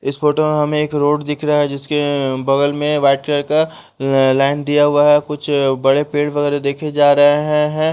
इस फोटो में हमें एक रोड दिख रहा है जिसमें बगल में वाइट कलर का लाइन दिया हुआ है कुछ बड़े पेड़ वगैरह देखे जा रहे हैं --